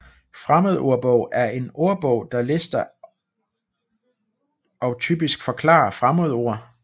Fremmedordbog er en ordbog der lister og typisk forklarer fremmedord